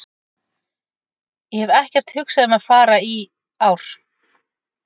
Ég hef ekkert hugsað um að fara í ár.